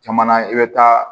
Caman i bɛ taa